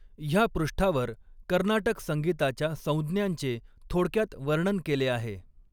ह्या पृष्ठावर कर्नाटक संगीताच्या संज्ञांचे थोडक्यात वर्णन केले आहे.